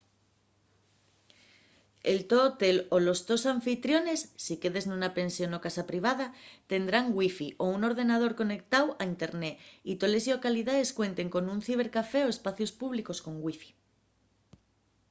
el to hotel o los tos anfitriones si quedes nuna pensión o casa privada tendrán wifi o un ordenador conectáu a internet y toles llocalidaes cuenten con un cibercafé o espacios públicos con wifi